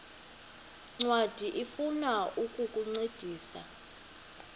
ncwadi ifuna ukukuncedisa